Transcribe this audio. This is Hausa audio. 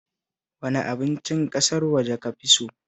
Wane abincin ƙasar waje ka fi so?